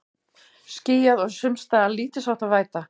Skýjað og sums staðar lítilsháttar væta